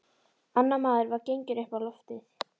Annar maður var genginn upp á loftið.